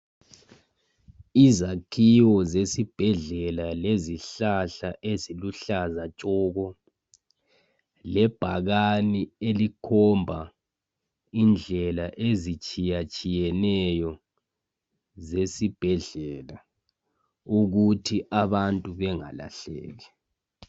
Izakhiwo zesibhedlela lezihlahla eziluhlaza tshoko ,lebhakane elikhomba indlela ezitshiyatshiyeneyo zesibhedlela ukuthi abantu bengalahleki.